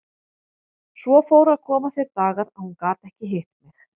Svo fóru að koma þeir dagar að hún gat ekki hitt mig.